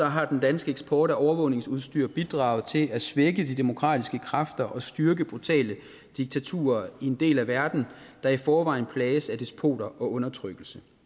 har den danske eksport af overvågningsudstyr bidraget til at svække de demokratiske kræfter og styrke brutale diktaturer i en del af verden der i forvejen plages af despoter og undertrykkelse